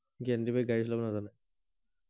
জ্ঞানদীপে গাড়ী চলাব নাজানে